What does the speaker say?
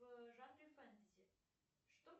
в жанре фэнтези что